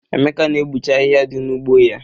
Emeka na-egbuche ahịhịa dị n'ugbo ya.